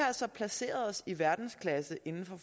altså placeret os i verdensklasse inden